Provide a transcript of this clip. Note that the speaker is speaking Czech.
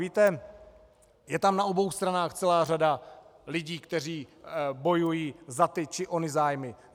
Víte, je tam na obou stranách celá řada lidí, kteří bojují za ty či ony zájmy.